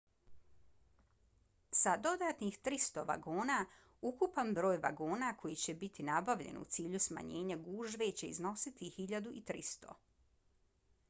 sa dodatnih 300 vagona ukupan broj vagona koji će biti nabavljen u cilju smanjenja gužve će iznositi 1.300